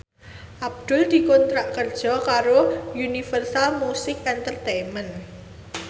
Abdul dikontrak kerja karo Universal Music Entertainment